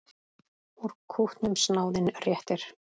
Úr kútnum snáðinn réttir.